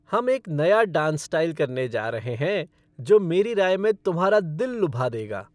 हम एक नया डांस स्टाइल करने जा रहे हैं जो मेरी राय में तुम्हारा दिल लुभा देगा।